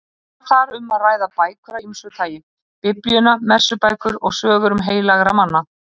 Var þar um að ræða bækur af ýmsu tagi: Biblíuna, messubækur og sögur heilagra manna.